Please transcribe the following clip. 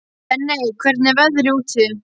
Benney, hvernig er veðrið úti?